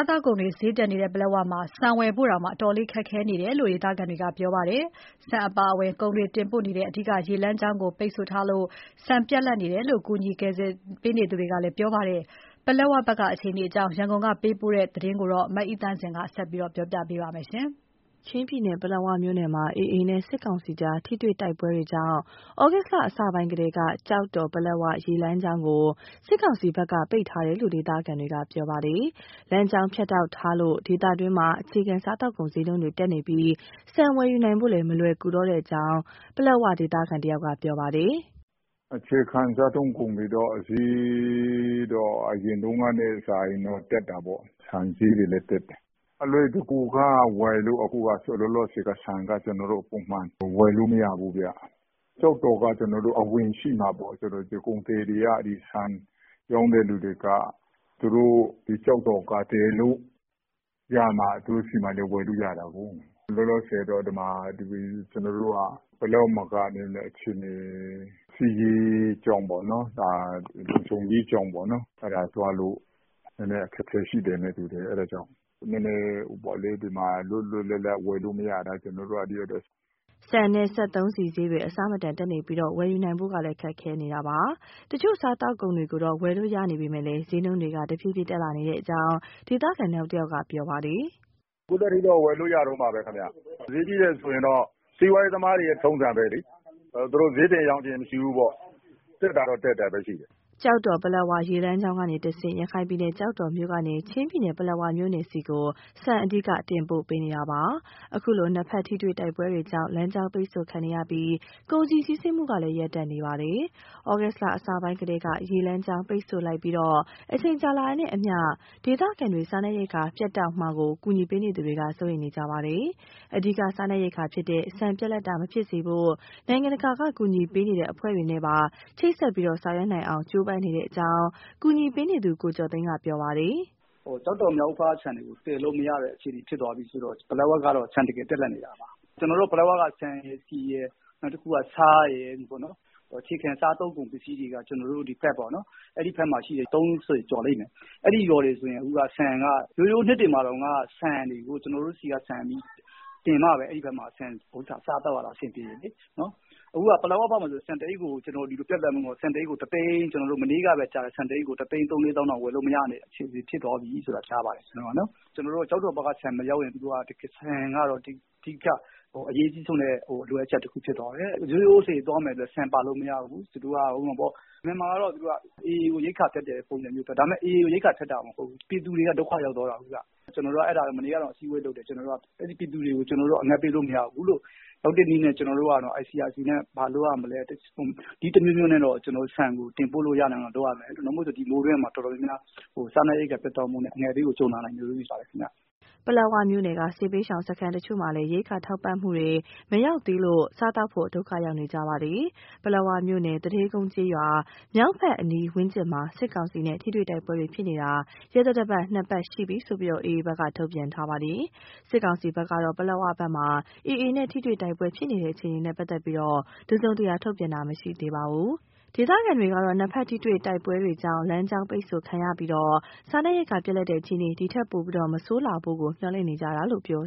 းသောက်ကုန် ဈေးနှုန်းတွေတက်နေပြီး ဆန်ဝယ်နိုင်ဖို့ကတော့ အတော်လေးခက်ခဲနေတယ်လို့ ဒေသခံတွေက ပြောပါတယ်။ ပလက်ဝကို ဆန်တင်ပို့နေတဲ့ အဓိကရေလမ်းကြောင်းကို ပိတ်ထားလို့ ဆန်ပြတ်လပ်ပြီး အငတ်ဘေးမကြုံဖို့ကို ကြိုးပမ်းနေတယ်လို့ ကူညီပေးနေသူတွေကလည်း ပြောပါတယ်။ ဒီအကြောင်း ရန်ကုန်ကပေးပို့တဲ့ သတင်းကို မအိသန့်စင်က တင်ပြပေးထားပါတယ်။ ချင်းပြည်နယ်၊ ပလက်ဝမြို့နယ်မှာ AA နဲ့ စစ်ကောင်စီကြား ထိတွေ့တိုက်ပွဲတွေကြောင့် ဩဂုတ်လအစပိုင်းကတည်းက ကျောက်တော် - ပလက်ဝ ရေလမ်းကြောင်းကို စစ်ကောင်စီဘက်က ပိတ်ထားတယ်လို့ ဒေသခံတွေက ပြောပါတယ်။ လမ်းကြောင်းဖြတ်တောက်ထားလို့ ဒေသတွင်းမှာ အခြေခံစားသောက်ကုန် ဈေးနှုန်းတွေတက်နေပြီး ဆန်ဝယ်ယူနိုင်ဖို့လည်း မလွယ်တော့ဘူးလို့ ပလက်ဝဒေသခံတဦးက ပြောပါတယ်။ "အခြေခံစားသုံးကုန် ဈေးကတော့ အရင်ကထက်စာရင် တက်တာပေါ့။ ဆန်ဈေးတွေလည်း တက်တယ်။ အလွယ်တကူဝယ်ဖို့က ဆန်ကလောလောဆယ် ပုံမှန်ဝယ် လို့မရဘူးဗျ။ ကျောက်တော်က အဝင်ရှိမှဆိုတော့ ကုန်သည်တွေ၊ ဆန်ရောင်းတဲ့သူတွေက ကျောက်တော်ကသယ်လို့ရမှ သူတို့ဆီမှာ ဝယ်လို့ရမှာကိုး။ လောလောဆယ်တော့ ဒီမှာ ကျနော်တို့ ပလက်ဝမှာက စစ်ရေး လုံခြုံရေးကြောင့် သွားဖို့ အခက်အခဲ ရှိတယ်နဲ့တူတယ်။ အဲဒါကြောင့် အခြေခံစားကုန်တွေ လွတ်လွတ်လပ် လပ်ဝယ်လို့မရတာ ကျနော်တို့သိရတယ်။" ဆန်နဲ့ စက်သုံးဆီဈေးတွေ အဆမတန်တက်နေပြီး ဝယ်ယူနိုင်ဖို့ကလည်း ခက်ခဲနေတာပါ။ တချို့ စားသောက်ကုန်တွေကိုတော့ ဝယ်လို့ရပေမယ့် ဈေးနှုန်းတွေက တဖြေးဖြေးတက်လာနေတယ်လို့ ဒေသခံနောက်တဦးက ပြောပါတယ်။ "ခုထက်ထိတော့ ဝယ်လို့ရတုန်းပါပဲခင်ဗျ။ ဈေးကြီးတယ်ဆိုရင်တော့ စီးပွားရေးသမားတွေရဲ့ ထုံးစံပဲလေ။ သူတို့ ဈေးတင်ရောင်းချင်ရင် မရှိဘူးပေါ့။ တက်တာတော့ တက်တာပဲရှိတယ်။" ကျောက်တော်-ပလက်ဝ ရေလမ်းကြောင်းကနေတဆင့် ရခိုင်ပြည်နယ်၊ ကျောက်တော်မြို့ကနေ ချင်းပြည်နယ်၊ ပလက်ဝမြို့နယ်ဆီ ဆန်အဓိက တင်ပို့ပေးနေတာပါ။ အခုလို နှစ်ဖက်ထိတွေ့ တိုက်ပွဲတွေကြောင့် လမ်းကြောင်းပိတ်ဆို့ခံရပြီး ကုန်စည် စီးဆင်းမှုကလည်း ရပ်တန့်နေပါတယ်။ ဩဂုတ်လအစပိုင်းကတည်းက ရေလမ်းကြောင်းပိတ်ဆို့လိုက်ပြီး အချိန်ကြာတာနဲ့အမျှ ဒေသခံတွေ စားနပ်ရိက္ခာ ပြတ်တောက်မှာကို ကူညီပေးနေသူတွေက စိုးရိမ်နေကြပါတယ်။ အဓိကစားနပ်ရိက္ခာဖြစ်တဲ့ ဆန်ပြတ်လပ်တာမဖြစ်စေဖို့ နိုင်ငံတကာက ကူညီပေးနေတဲ့အဖွဲ့တွေနဲ့ပါ ချိတ်ဆက်ဆောင်ရွက်နိုင်အောင် ကြိုးပမ်းနေတယ်လို့ ကူညီပေးနေသူ ကိုကျော်သိန်းက ပြောပါတယ်။ "ကျောက်တော်ဘက်က ဆန်တွေကို သယ်လို့မရတဲ့အခြေအနေ ဖြစ်သွားပြီဆိုတော့ ပလက်ဝဘက်က ဆန်တကယ်ပြတ်လပ်နေတာပါ။ ဆန်၊ ဆီ၊ ဆား အခြေခံစားသုံးကုန်စည်တွေကို ပလက်ဝဘက်က ရွာပေါင်း ၃၀ ကျော်လိမ့်မယ် - အဲဒီဘက်က ရွာတွေဆို ကျနော်တို့ ကျောက်တော်ဘက်က ဆန်တင်မှပဲ အဲဒီဘက်မှာ စားသောက်ရတာအဆင်ပြေတယ်လေ။ အခုက ပလက်ဝဘက်မှာ ဆန်တအိတ်ကို ၁ သိန်းကျော်နဲ့တောင် ဝယ်မရတဲ့ အခြေအနေဖြစ်သွားပြီ။ ရိုးရိုးလှေသွားမယ်ဆိုရင်တောင် ဆန်ပါလို့မရဘူး။ အမှန်မှာ သူတို့က AA ကို ရိက္ခာဖြတ်တဲ့ပုံစံမျိုးလုပ်တာ။ ဒါပေမယ့် ပြည်သူတွေက ဒုက္ခရောက်သွားတာကိုးဗျ။ ကျနော်တို့ မနေ့က အစည်းအဝေးလုပ်တယ်၊ အဲဒီပြည်သူတွေကို အငတ်ပေးလို့မရဘူး။ ရောက်တဲ့နည်းနဲ့ ICRC နဲ့ ဘာလုပ်ရမလဲ၊ နည်းတမျိုးမျိုးနဲ့တော့ ဆန်ရောက်နိုင်အောင် တင်ပို့ရမယ်။ မဟုတ်ရင် ဒီမိုးတွင်းမှာ စားနပ်ရိက္ခာ ဒုက္ခရောက်ပြီး အငတ်ဘေးကိုကြုံလာနိုင်တယ်ဗျ။" ပလက်ဝမြို့နယ်က စစ်ဘေးရှောင်စခန်းတချို့မှာလည်း ရိက္ခာထောက်ပံ့တာတွေ မရောက်သေးလို့ စားသောက်ဖို့ ဒုက္ခရောက်နေကြပါတယ်။ ပလက်ဝမြို့နယ်၊ သူဌေးကုန်းကျေးရွာ မြောက်ဘက်အနီးဝန်းကျင်မှာ စစ်ကောင်စီနဲ့ ထိတွေ့တိုက်ပွဲတွေဖြစ်နေတာ ရက်သတ္တပတ် ၂ ပတ် ရှိပြီလို့ AA ဘက်က ထုတ်ပြန်ထားပါတယ်။ စစ်ကောင်စီဘက်ကတော့ ပလက်ဝဘက်မှာ AA နဲ့ ထိတွေ့တိုက်ပွဲဖြစ်နေတဲ့ အခြေအနေနဲ့ပတ်သက်ပြီး တစုံတရာထုတ်ပြန်ထားတာ မရှိသေးပါဘူး။ ဒေသခံတွေကတော့ နှစ်ဘက်ထိတွေ့တိုက်ပွဲတွေကြောင့် လမ်းကြောင်းပိတ်ဆို့ခံရပြီး စားနပ်ရိက္ခာပြတ်လပ်တဲ့ အခြေအနေ ဒီထက်ပိုဆိုးမလာဖို့ကို မျှော်လင့်နေကြတယ်လို့ ပြော